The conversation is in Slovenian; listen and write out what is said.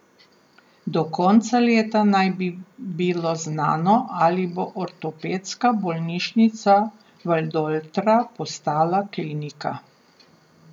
Do konca leta naj bi bilo znano, ali bo Ortopedska bolnišnica Valdoltra postala klinika.